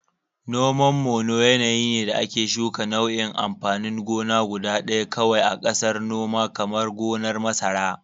Noman Mono yanayi ne da ake shuka nau'in amfanin gona guda ɗaya kawai a ƙasar noma, kamar gonar masara.